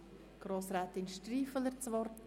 Grossrätin Striffeler hat das Wort.